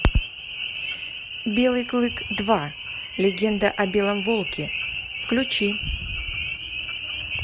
белый клык два легенда о белом волке включи